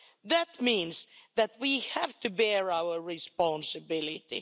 This means that we have to bear our responsibility.